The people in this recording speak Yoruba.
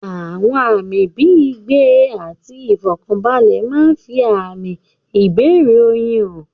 Àwọn àmì bíi ìgbẹ́ àti ìfọ̀kànbalẹ̀ máa ń fi àmì ìbẹ̀rẹ̀ oyún hàn.